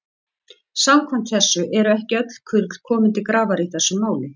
Samkvæmt þessu eru ekki öll kurl komin til grafar í þessu máli.